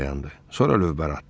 Sonra lövbər atdı.